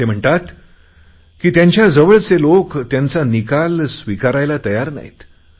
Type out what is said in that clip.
ते म्हणतात की त्यांच्या जवळचे लोक त्यांचा निकाल स्विकारायला तयार नाहीत